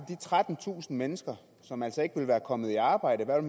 de trettentusind mennesker som altså ikke var kommet i arbejde hvad